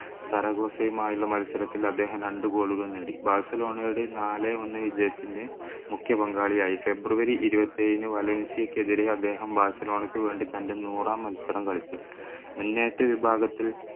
മായുള്ള മത്സരത്തിൽ അദ്ദേഹം രണ്ടു goal കൾ നേടി ബാഴ്സലോണയുടെ നാലേ ഒന്നേ വിജയത്തിൻ്റെ മുഖ്യപങ്കാളിയായി ഫെബ്രുവരി ഇരുപത്തിയേഴിന് വലൻസിയക്കെതിരെ അദ്ദേഹം വേണ്ടി തൻ്റെ നൂറാം മത്സരം കളിച്ചു മുന്നേറ്റ വിഭാഗത്തിൽ